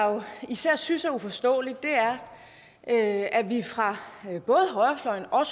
især synes er uforståeligt er at vi fra både højrefløjen og